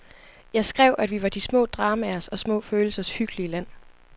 Jeg skrev, at vi var de små dramaers og små følelsers hyggelige land.